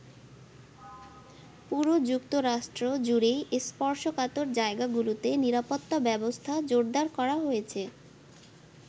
পুরো যুক্তরাষ্ট্র জুড়েই স্পর্শকাতর জায়গাগুলোতে নিরাপত্তা ব্যবস্থা জোরদার করা হয়েছে।